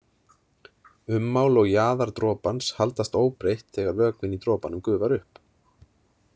Ummál og jaðar dropans haldast óbreytt þegar vökvinn í dropanum gufar upp.